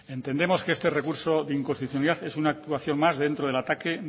entendemos que este recurso de inconstitucionalidad es una actuación más dentro del ataque